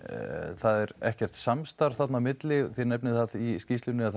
það er ekkert samstarf þarna á milli þið nefnið í skýrslunni að